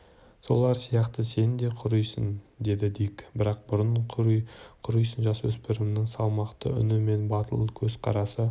солар сияқты сен де құрисың деді дик бірақ бұрын құрисың жасөспірімнің салмақты үні мен батыл көз қарасы